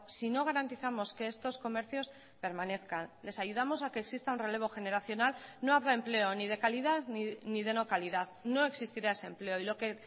si no garantizamos que estos comercios permanezcan les ayudamos a que exista un relevo generacional no habrá empleo ni de calidad ni de no calidad no existirá ese empleo y lo que